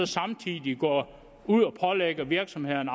samtidig går ud og pålægger virksomhederne